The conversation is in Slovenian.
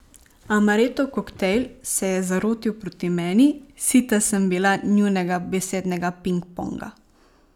Amarettov koktajl se je zarotil proti meni, sita sem bila njunega besednega pingponga.